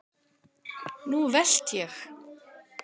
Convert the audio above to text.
Nú velt ég!